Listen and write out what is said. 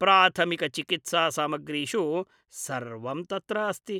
प्राथमिकचिकित्सा सामग्रीषु सर्वं तत्र अस्ति।